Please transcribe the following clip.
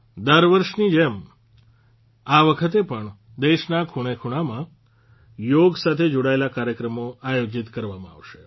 દર વખતની જેમ આ વખતે પણ દેશના ખૂણેખૂણામાં યોગ સાથે જોડાયેલા કાર્યક્રમો આયોજીત કરવામાં આવશે